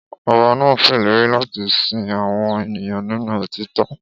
Ọba náà ṣèlérí láti sin àwọn ènìyàn nínú òtítọ́